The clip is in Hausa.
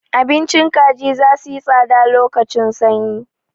Abincin kaji za suyi tsada lokacin sanyi.